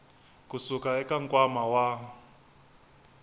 ku suka eka nkwama wa